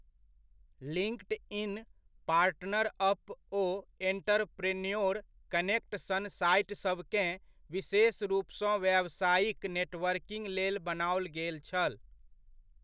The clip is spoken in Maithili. लिङ्कड इन, पार्टनरअप ओ एण्टरप्रेन्योर कनेक्ट सन साइटसभकेँ विशेष रूपसँ व्यावसायिक नेटवर्किङ्ग लेल बनाओल गेल छल।